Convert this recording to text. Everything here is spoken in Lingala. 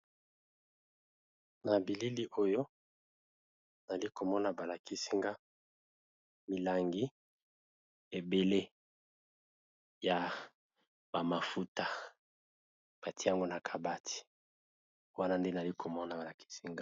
Nabilili oyo nazali komona balakisinga milangi ebele ya bamafuta ya ko pakola